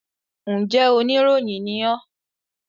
Njẹ oníròyìn ní ọ́?